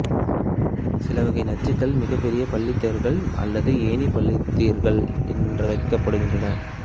சிலவகை நச்சுகள் மிகப்பெரிய பல்லீத்தர்கள் அல்லது ஏணி பல்லீத்தர்கள் எனப்படுகின்றன